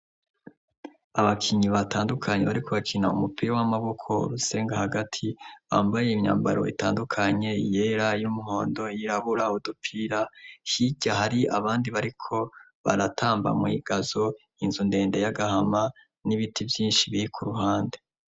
Abakinyi batandukanyi bariko bakina u mupira w'amaboko rusenga hagati bambaye imyambaro itandukanye yera y'umwondo yirabura udupira hirya hari abandi bariko baratamba mw'igazo inzu ndende y'agahama n'ibiti vyinshi biri ku ruhande.